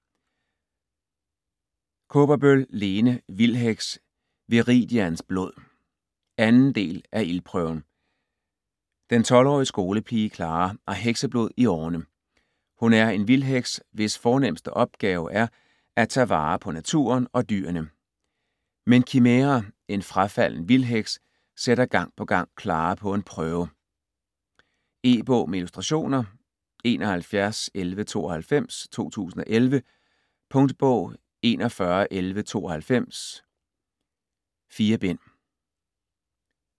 Kaaberbøl, Lene: Vildheks: Viridians blod 2. del af Ildprøven. Den 12-årige skolepige Clara har hekseblod i årerne. Hun er en vildheks hvis fornemmeste opgave er at tage vare på naturen og dyrene. Men Kimæra, en frafalden vildheks, sætter gang på gang Clara på en prøve. E-bog med illustrationer 711192 2011. Punktbog 411192 none. 4 bind.